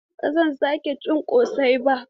Ba zan sake cin ƙosai ba.